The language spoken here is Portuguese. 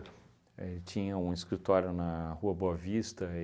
Ele tinha um escritório na Rua Boa Vista.